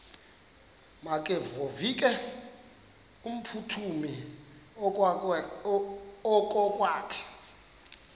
makevovike kumphuthumi okokwakhe